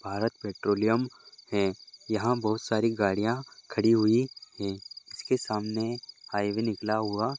Bharat petroleum है यहाँ बहुत सारी गाड़ियां खड़ी हुई है जीस के सामने हाईवे निकला हुआ --